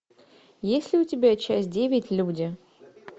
есть ли у тебя часть девять люди